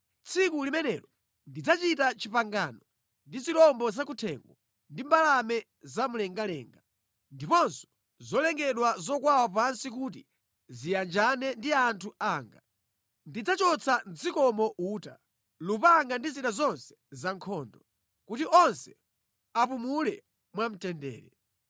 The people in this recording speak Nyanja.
Tsiku limenelo ndidzachita pangano ndi zirombo zakuthengo ndi mbalame zamumlengalenga ndiponso zolengedwa zokwawa pansi kuti ziyanjane ndi anthu anga. Ndidzachotsa mʼdzikomo uta, lupanga ndi zida zonse zankhondo, kuti onse apumule mwamtendere.